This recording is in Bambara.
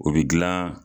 O bɛ gilan